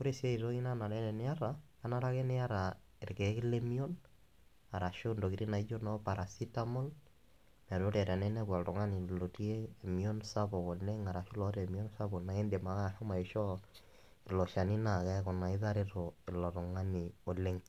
Ore siae toki nanare teniata , kenare ake niata irkiek lemion arashu ntokitin naijo noo paracetamol meetaa ore pinepu oltungani lotii emion sapuk oleng arashu loota emion sapuk naa indim ake ashomo aishoo ilo shani naa keaku naa itareto ilo tungani oleng.